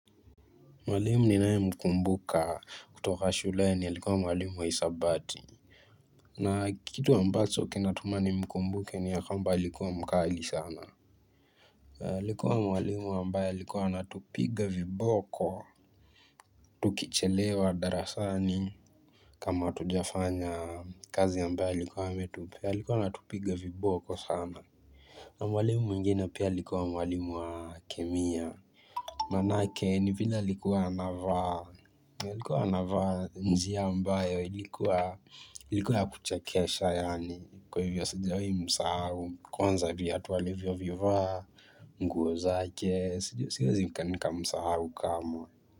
Mwalimu ninayemkumbuka kutoka shuleni alikuwa mwalimu wa hesabati. Na kitu ambacho kinatuma nimkumbuke ni ya kwamba alikuwa mkali sana. Alikuwa mwalimu ambaye alikuwa anatupiga viboko. Tukichelewa darasani kama hatujafanya kazi ambayo alikuwa ametupea alikuwa anatupiga viboko sana. Na mwalimu mwingine pia alikuwa mwalimu wa kemia. Manake ni vile alikuwa anavaa. Alikuwa anavaa njia ambayo ilikuwa ya kuchekesha yaani kwa hivyo sijawahimsahau kwanza vyatu alivyovivaa. Nguo zake siezii nikamsahau kamwe.